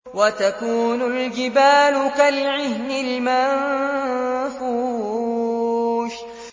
وَتَكُونُ الْجِبَالُ كَالْعِهْنِ الْمَنفُوشِ